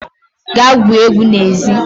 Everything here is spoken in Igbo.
gaa gwuo egwu n'ezi